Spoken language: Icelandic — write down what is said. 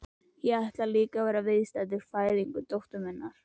Ég ætlaði líka að vera viðstaddur fæðingu dóttur minnar.